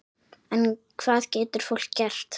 En hvað getur fólk gert?